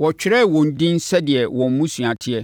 wɔtwerɛɛ wɔn edin sɛdeɛ wɔn mmusua teɛ.